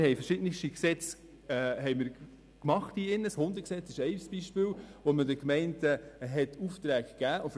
Wir haben hier im Grossen Rat verschiedenste Gesetze gemacht, welche den Gemeinden Aufträge geben.